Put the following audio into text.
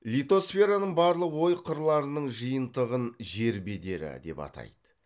литосфераның барлық ой қырларының жиынтығын жер бедері деп атайды